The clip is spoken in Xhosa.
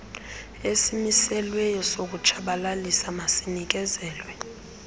esimiselweyo sokutshabalalisa masinikezelwe